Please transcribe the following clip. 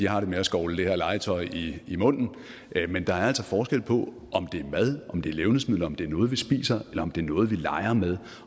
har det med at skovle det her legetøj i munden men der er altså forskel på om det er mad om det er levnedsmidler om det er noget vi spiser eller om det er noget vi leger med